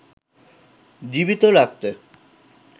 জীবিত রাখতে